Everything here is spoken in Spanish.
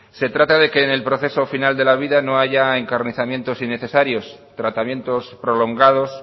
se trata de que en el proceso final de la vida no haya encarnizamientos innecesarios tratamientos prolongados